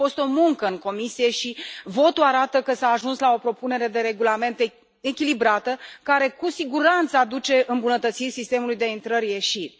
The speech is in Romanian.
A fost o muncă în comisie și votul arată că s a ajuns la o propunere de regulament echilibrată, care cu siguranță aduce îmbunătățiri sistemului de intrări ieșiri.